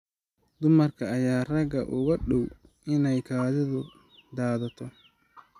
Dumarka ayaa ragga uga dhow inay kaadidu daadato.